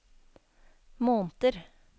måneder